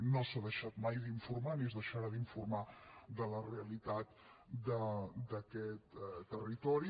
no s’ha deixat mai d’informar ni es deixarà d’informar de la realitat d’aquest territori